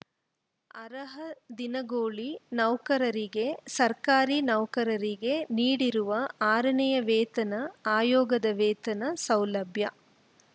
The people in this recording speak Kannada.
ಅರ್ಹ ದಿನಗೂಲಿ ನೌಕರರಿಗೆ ಸರ್ಕಾರಿ ನೌಕರರಿಗೆ ನೀಡಿರುವ ಆರನೇ ವೇತನ ಆಯೋಗದ ವೇತನ ಸೌಲಭ